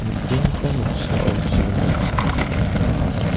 nikenggipa noksao chiring damsako anga nika.